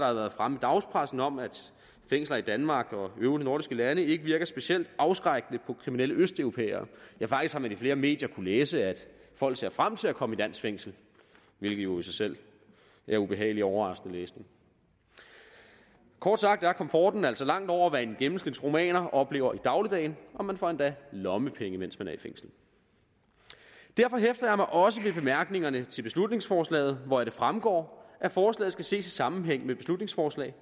har været fremme i dagspressen om at fængsler i danmark og øvrige nordiske lande ikke virker specielt afskrækkende på kriminelle østeuropæere faktisk har man i flere medier kunnet læse at folk ser frem til at komme i dansk fængsel hvilket jo i sig selv er ubehagelig overraskende læsning kort sagt er komforten altså langt over hvad en gennemsnitsrumæner oplever i dagligdagen og man får endda lommepenge mens man er i fængsel derfor hæfter jeg mig også ved bemærkningerne til beslutningsforslaget hvoraf det fremgår at forslaget skal ses i sammenhæng med beslutningsforslag